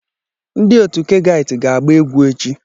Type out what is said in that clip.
Ndi otu Kegait ga-agba egwu echi.